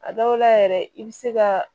A dɔw la yɛrɛ i bɛ se ka